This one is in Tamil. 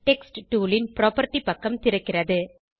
டெக்ஸ்ட் டூல் ன் புராப்பர்ட்டி பக்கம் திறக்கிறது